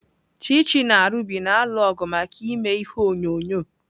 Chichi na Ruby na-alụ ọgụ maka ime ihe onyonyo.